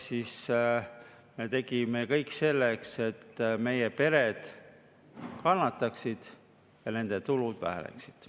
Me tegime kõik selleks, et meie pered kannataksid ja nende tulud väheneksid.